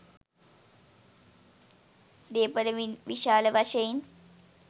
දේපල විශාල වශයෙන්